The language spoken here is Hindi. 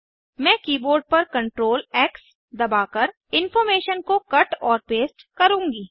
मैं कीबोर्ड पर CTRL X दबाकर इनफार्मेशन को कट और पेस्ट करूंगी